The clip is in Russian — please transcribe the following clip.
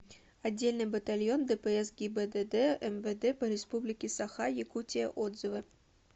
отдельный батальон дпс гибдд мвд по республике саха якутия отзывы